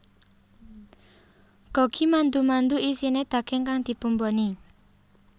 Gogi mandu mandu isine daging kang dibumboni